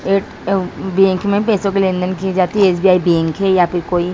ATM. Bank में पैसों की लेन-देन की जाती है एस.बी.आई. बैंक है यहां पे कोई।